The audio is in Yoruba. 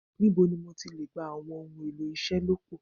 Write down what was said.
Nibo ni mo ti le gba awọn ohun elo iṣelọpọ